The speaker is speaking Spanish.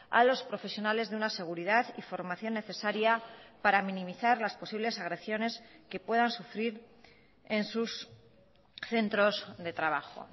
a los profesionales de una seguridad y formación necesaria para minimizar las posibles agresiones que puedan sufriren sus centros de trabajo